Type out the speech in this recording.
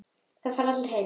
Þá fara allir heim.